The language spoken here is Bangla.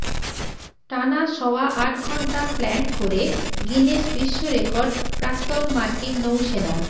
টানা সওয়া আট ঘণ্টা প্ল্যাঙ্ক করে গিনেস বিশ্বরেকর্ড প্রাক্তন মার্কিন নৌ সেনার